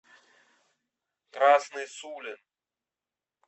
красный сулин